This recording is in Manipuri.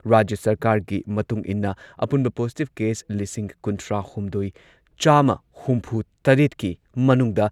ꯑꯊꯤꯡꯕ ꯑꯁꯤ ꯂꯩꯔꯤꯉꯩ ꯃꯅꯨꯡꯗ ꯃꯤ ꯃꯉꯥ ꯅꯠꯇ꯭ꯔꯒ ꯃꯉꯥꯗꯒꯤ ꯍꯦꯟꯅ ꯄꯨꯟꯕ